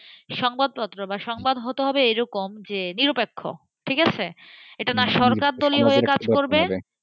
সংবাদপত্র বা সংবাদ হতে হবে এরকম যে নিরপেক্ষ ঠিক আছে? এটা না সরকারের হয়ে কাজ করবে,